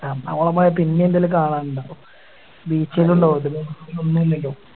എറണാകുളം പോയ പിന്നേം എന്തേലും കാണാനിണ്ടാവും Beach ന്നെ ഇണ്ടാവും ഇതില് ഒന്നുല്ലല്ലോ